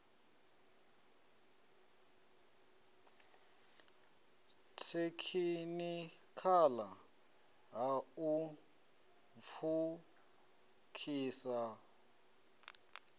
thekhinikhala ha u pfukhisa nd